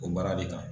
O mara de kan